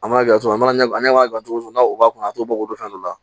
An m'a kɛ cogo min na an ne ma gilan cogo min na o b'a kunna t'o bɔ fɛn dɔ la